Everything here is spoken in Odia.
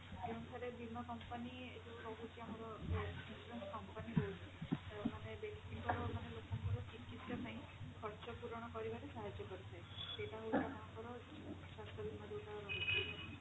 ଯେଉଁଠାରେ ବୀମା company ଏ ଯୋ ରହୁଚି ଆମର company ରହୁଛି ମାନେ ବ୍ୟକ୍ତି ଙ୍କ ର ମାନେ ଲୋକ ଙ୍କ ର ଚିକିତ୍ସା ପାଇଁ ଖର୍ଚ୍ଚ ପୂରଣ କରିବା ରେ ସାହାର୍ଯ୍ୟ କରିଥାଏ। ସେଇଟା ହଉଛି ଆପଣଙ୍କର ସ୍ୱାସ୍ଥ୍ୟ ବୀମା ଯଉଟା ରହୁଛି